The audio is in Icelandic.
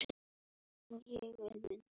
Theódór stýrir ferð.